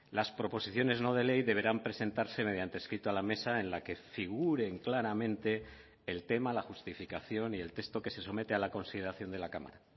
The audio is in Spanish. las proposiciones no de ley deberán presentarse mediante escrito a la mesa en la que figuren claramente el tema la justificación y el texto que se somete a la consideración de la cámara